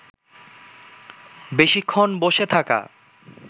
বেশিক্ষণ বসে থাকা